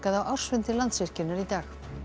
á ársfundi Landsvirkjunar í dag